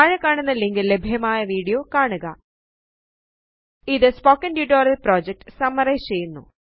താഴെക്കാണുന്ന ലിങ്കില് ലഭ്യമായ വീഡിയോ കാണുക ഇത് സ്പോകെൻ ടുടോറിയൽ പ്രോജെക്റ്റ് സമ്മറയിസ് ചെയ്യുന്നു